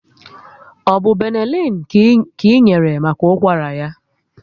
Ọbụ Benelin ka ị enyere maka ụkwara ya?